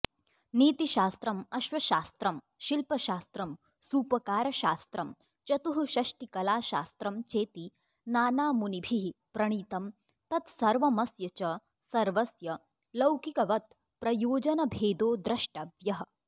नीतिशास्त्रमश्वशास्त्रं शिल्पशास्त्रं सूपकारशास्त्रं चतुःषष्टिकलाशास्त्रं चेति नानामुनिभिः प्रणीतं तत्सर्वमस्य च सर्वस्य लौकिकवत्प्रयोजनभेदो द्रष्टव्यः